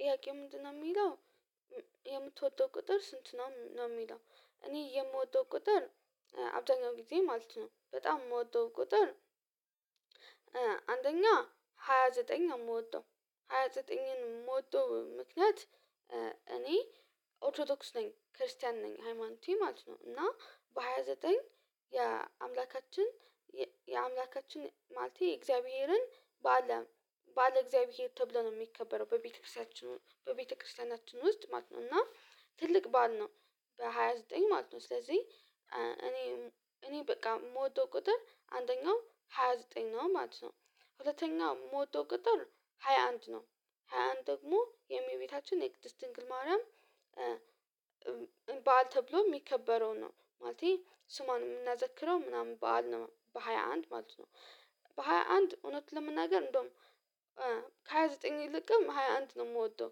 ጥያቄው ምንድነው የሚለው የምትወደው ቁጥር ስንት ነው የሚለው? እኔ የምወደው ቁጥር አብዛኛው ጊዜ ማለት ነው በጣም የምወጣው ቁጥር። አንደኛ ሃያ ዘጠኝ የምወጣው ሃያ ዘጠኝን የምወጣው ምክንያት። እኔ ኦርቶዶክስ ነኝ ክርስቲያን ነኝ ሃይማኖቴ ማለት ነው እና በሃያ ዘጠኝ የአምላካችን ማለቴ የእግዚአብሔርን ባለ ባለ እግዚአብሔር ተብለን ነው የሚከበረው በቤተክርስቲያችን በቤተክርስቲያናችን ውስጥ ማለት ነው። እና ትልቅ ባል ነው በሃያ ዘጠኝ ማለት ነው። ስለዚህ እኔ እኔ በቃ የምወደው ቁጥር አንደኛው ሃያ ዘጠኝ ነው ማለት ነው። የምወደው ቅጥር ሃያ አንድ ነው ሃያ አንድ ደግሞ የእመቤታችን የቅድስት ድንግል ማውራም በዓል ተብሎ የሚከበረውን ነው ማለቴ ስሟን የምናዘክረው ምናምን በዓል በሃያ አንድ ማለት ነው። በሃያ አንድ እውነት ለመናገር እንደውም ከሃያ ዘጠኝ ይልቅም ሃያ አንት ነው የምወደው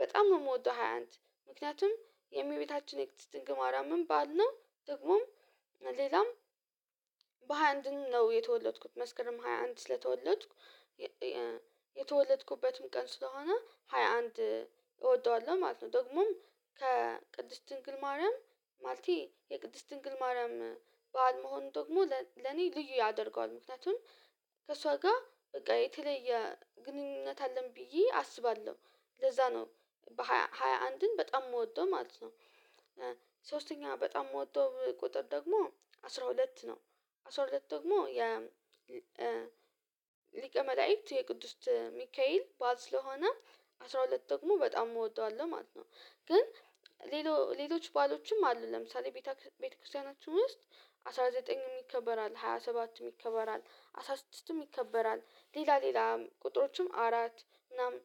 በጣም የምወደው ሃያ አንት። ምክንያቱም የእመቤታችን የክትስ ድንግማራ ምን ባል ነው ደግሞም ሌላም በሃያ አንድን ነው የተወለድኩት መስክርም ሃያ አንድ ስለተወለድኩ የተወለድኩበትም ቀን ስለሆነ ሃያ አንድ እወደዋለሁ ማለት ነው። ደግሞም ከቅድስት ድንግል ማርያም ማለቴ የቅድስት ድንግል ማርያም በዓል መሆኑ ደግሞ ለኔ ልዩ ያደርገዋል ምክንያቱም ከእሷ ጋር በቃ የተለየ ግንኙነት አለን ብዬ አስባለሁ ለዛ ነው ሃያ አንድን በጣም የምወጣው ማለት ነው። ሶስተኛ በጣም የምወጣው ቁጥር ደግሞ አስራ ሁለት ነው አስራ ሁለት ደግሞ የ ሊቀ መላእክት የቅዱስ ሚካኤል ባል ስለሆነ አስራ ሁለት ደግሞ በጣም እወደዋለሁ ማለት ነው። ግን ሌሎ ሌሎች ባሎችም አሉ ለምሳሌ ቤተ ክርስቲያናችን ውስጥ አስራ ዘጠኝም ይከበራል ሃያ ሰባት ይከበራል አስራ ስድስትም ይከበራል ሌላ ሌላ ቁጥሮችም አራት ምናምን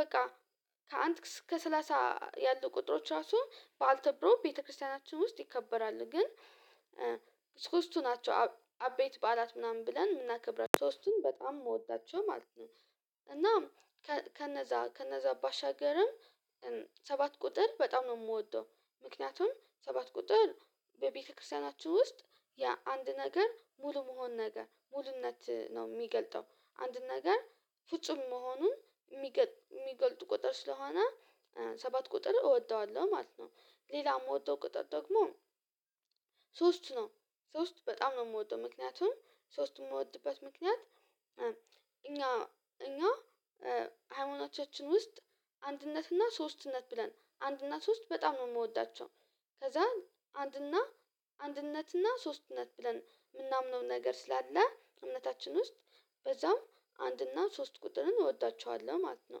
በቃ ከአንድ እስከ ሰላሳ ያሉ ቁጥሮች ራሱ ባልተብሮ ቤተክርስቲያናችን ውስጥ ይከበራል ግን ሶስቱ ናቸው አቤት በዓላት ምናምን ብለን የምናከብራቸው ሶስቱን በጣም የምወዳቸው ማለት ነው። እናም ከነዛ ከነዛ ባሻገርም ሰባት ቁጥር በጣም ነው የምወደው ምክንያቱም ሰባት ቁጥር በቤተክርስቲያናችን ውስጥ ያ አንድ ነገር ሙሉ መሆን ነገር ሙሉነት ነው የሚገልጠው አንድ ነገር ፍጹም መሆኑን የሚገልጥ ቁጥር ስለሆነ ሰባት ቁጥር እወደዋለሁ ማለት ነው። ሌላም የምወደው ቅጠት ደግሞ ሶስቱ ነው ሶስት በጣም ነው የምወደው ምክንያቱም ሶስቱም የምወድበት ምክንያት እኛ እኛ ሃይማኖቻችን ውስጥ አንድነትና ሶስትነት ብለን አንድና ሶስት በጣም ነው የምወዳቸው ከዛ አንድና አንድነትና ሶስትነት ብለን የምናምነው ነገር ስላለ እምነታችን ውስጥ በዛም አንድና ሶስት ቁጥርን እወዳችኋለሁ ማለት ነው።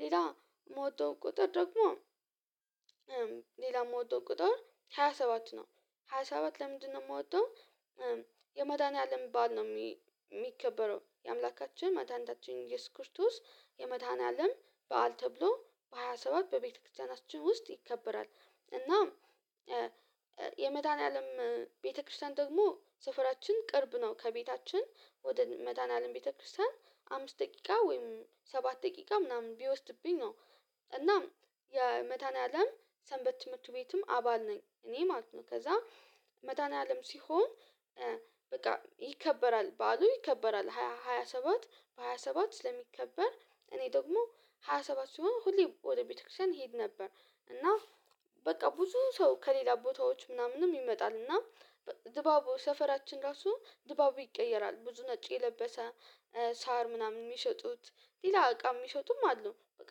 ሌላ የምወጣው ቁጥር ደግሞ ሌላ የምወጣው ቁጥር ሃያ ሰባት ነው ሃያ ሰባት ለምንድነው የምወጣው የመዳኒያ አለም ባል ነው የሚከበረው የአምላካችን መታንታችን የስኩርቱስ የመታን አለም በዓል ተብሎ በሃያ ሰባት በቤተክርስቲያናችን ውስጥ ይከበራል። እናም የመዳኒያለም ቤተክርስቲያን ደግሞ ሰፈራችን ቅርብ ነው ከቤታችን ወደ መታናለም ቤተክርስቲያን አምስት ደቂቃ ወይም ሰባት ደቂቃ ምናምን ቢወስድብኝ ነው እናም የመታኒያለም ሰንበት ትምህርት ቤትም አባል ነኝ እኔ ማለት ነው። ከዛ መታኒያለም ሲሆን በቃ ይከበራል ባሉ ይከበራል ሃያ ሰባት በሃያ ሰባት ስለሚከበር እኔ ደግሞ ሃያ ሰባት ስሆን ሁሌ ወደ ቤተክርስቲያን ሄድ ነበር። እና በቃ ብዙ ሰው ከሌላ ቦታዎች ምናምንም ይመጣል እና ድባቡ ሰፈራችን ራሱ ድባቡ ይቀየራል ብዙ ነጭ የለበሰ ሳር ምናምን የሚሸጡት ሌላ እቃ የሚሸጡም አሉ በቃ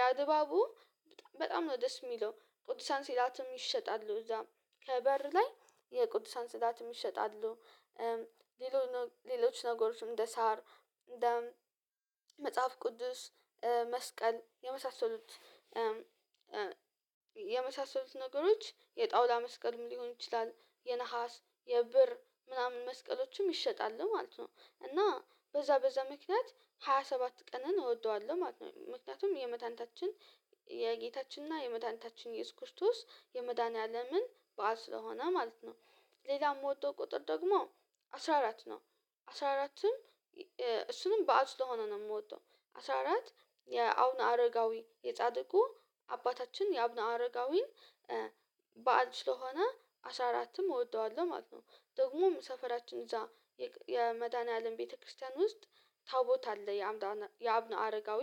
ያ ድባቡ በጣም ነው ደስ የሚለው። ቅዱሳን ሲላትም ይሸጣሉ እዛ ከበር ላይ የቅዱሳን ስዳት ይሰጣሉ ሌሎች ነገሮችም እንደ ሳር እንደ መጽሐፍ ቅዱስ መስቀል የመሳሰሉት የመሳሰሉት ነገሮች የጣውላ መስቀልም ሊሆን ይችላል የነሃስ የብር ምናምን መስቀሎችም ይሸጣል ማለት ነው። እና በዛ በዛ ምክንያት ሃያ ሰባት ቀንን እወደዋለሁ ማለት ነው ምክንያቱም የመታንታችን የጌታችን እና የመታንታችን የስኩርቶስ የመዳኒያ አለምን በዓል ስለሆነ ማለት ነው። ሌላም የምወጣው ቁጥር ደግሞ አስራ አራት ነው አስራ አራትም እሱንም በዓል ስለሆነ ነው የምወደው አስራ አራት የአብነ አረጋዊ የጻድቁ አባታችን የአብነ አረጋዊን በዓል ስለሆነ አስራ አራትም እወደዋለሁ ማለት ነው። ደግሞም ሰፈራችን እዛ የመዳንያለም ቤተክርስቲያን ውስጥ ታቦት አለ የአብነ አረጋዊ